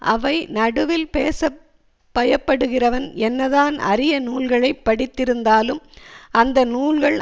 அவை நடுவில் பேச பயப்படுகிறவன் என்னதான் அரிய நூல்களை படித்திருந்தாலும் அந்த நூல்கள்